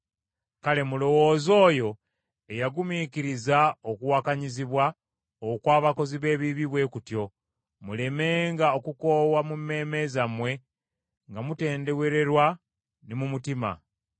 Kale mulowooze oyo eyagumiikiriza okuwakanyizibwa okw’abakozi b’ebibi bwe kutyo, mulemenga okukoowa mu mmeeme zammwe nga mutendewererwa ne mu mutima.